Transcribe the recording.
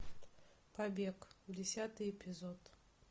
побег десятый эпизод